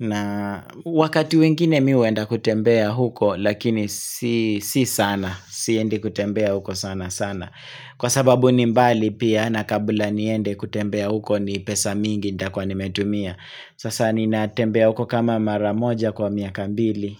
na wakati wengine mimi uwenda kutembea huko Lakini si sana, siendi kutembea huko sana sana Kwa sababu ni mbali pia na kabula niende kutembea huko ni pesa mingi nitakuwa nimetumia, Sasa ni natembea uko kama maramoja kwa miaka mbili.